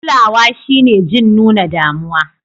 Kulawa shine jin nuna damuwa.